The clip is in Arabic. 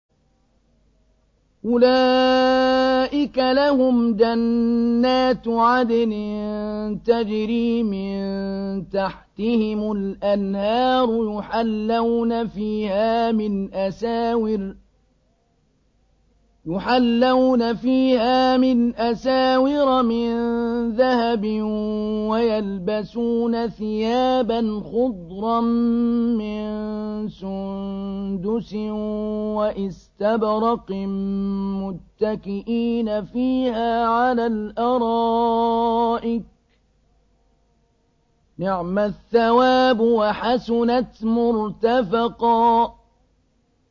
أُولَٰئِكَ لَهُمْ جَنَّاتُ عَدْنٍ تَجْرِي مِن تَحْتِهِمُ الْأَنْهَارُ يُحَلَّوْنَ فِيهَا مِنْ أَسَاوِرَ مِن ذَهَبٍ وَيَلْبَسُونَ ثِيَابًا خُضْرًا مِّن سُندُسٍ وَإِسْتَبْرَقٍ مُّتَّكِئِينَ فِيهَا عَلَى الْأَرَائِكِ ۚ نِعْمَ الثَّوَابُ وَحَسُنَتْ مُرْتَفَقًا